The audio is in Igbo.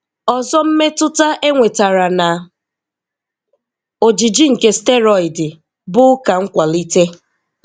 Ọzọ mmetụta enwetara na ojiji nke steroidi bụ uka nkwalite.